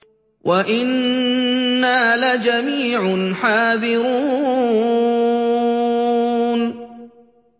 وَإِنَّا لَجَمِيعٌ حَاذِرُونَ